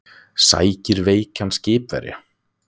Sækir veikan skipverja